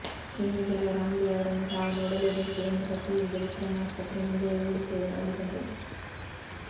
ಇನ್ನೂ ಕೆಲವರು ಅಂಬಿ ಅವರನ್ನು ತಾವು ನೋಡಲೇಬೇಕು ಎಂದು ಪಟ್ಟುಹಿಡಿದು ವಿಕ್ರಂ ಆಸ್ಪತ್ರೆ ಮುಂದೆಯೇ ಉರುಳುಸೇವೆ ಮಾಡಿದರು